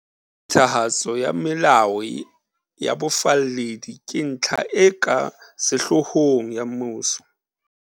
Phethahatso ya melao ya bofalledi ke ntlha e ka sehloohong ya mmuso.